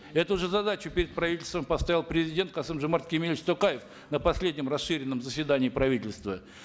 эту же задачу перед правительством поставил президент касым жомарт кемелевич токаев на последнем расширенном заседании правительства